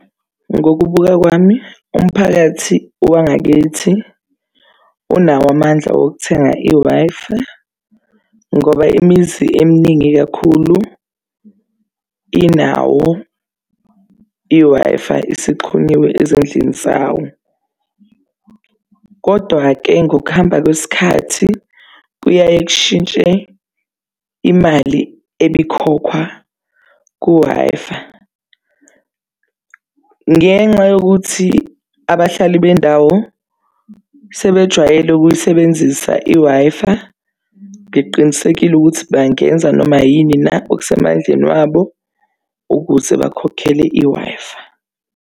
Ngokubuka kwami umphakathi wangakithi unawo amandla okuthenga i-Wi-Fi ngoba imizi eminingi kakhulu inawo i-Wi-Fi, isixhunyiwe ezindlini zawo. Kodwa-ke ngokuhamba kwesikhathi kuyaye kushintshe imali elikhokhwa ku-Wi-Fi. Ngenxa yokuthi abahlali bendawo sebejwayele ukuyisebenzisa i-Wi-Fi, ngiqinisekile ukuthi bangenza noma yini na okusemandleni wabo ukuze bakhokhele i-Wi-Fi.